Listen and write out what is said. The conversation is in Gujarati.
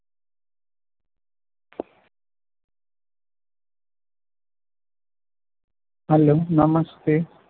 Hello નમસ્તે